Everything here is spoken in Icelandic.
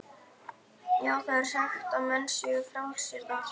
Já, það er sagt að menn séu frjálsir þar.